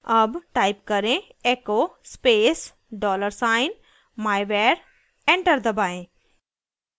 अब type करें echo space dollar sign myvar enter दबाएं